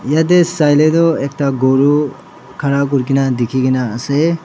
eyteh saile toh ekta guru khara kurikena dekikena ase.